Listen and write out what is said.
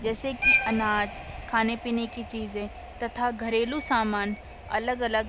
जैसे कि अनाज खाने पीने की चीजें तथा घरेलू समान अलग-अलग --